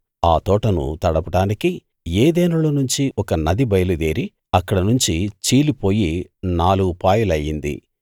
ఆ తోటను తడపడానికి ఏదెనులో నుంచి ఒక నది బయలుదేరి అక్కడ నుంచి చీలిపోయి నాలుగు పాయలు అయ్యింది